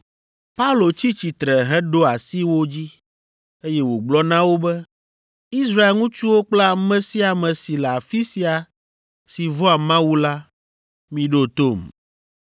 Paulo tsi tsitre heɖo asi wo dzi, eye wògblɔ na wo be, “Israel ŋutsuwo kple ame sia ame si le afi sia si vɔ̃a Mawu la, miɖo tom!